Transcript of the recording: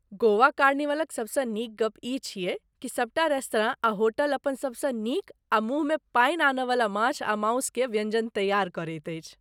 गोवा कार्निवलक सभसँ नीक गप ई छियै कि सभटा रेस्तरां आ होटल अपन सभसँ नीक आ मुँहमे पानि आनयवला माछ आ मासु के व्यञ्जन तैयार करैत अछि।